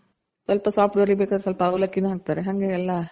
ಸ್ವಲ್ಪ soft ಬರ್ಬೇಕಂದ್ರೆ ಸ್ವಲ್ಪ ಅವಲಕ್ಕಿ ನು ಹಾಕ್ತಾರೆ. ಹಂಗೆ ಎಲ್ಲ